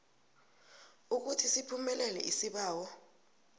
ukuthi siphumelele isibawo